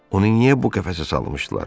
Onu niyə bu qəfəsə salmışdılar?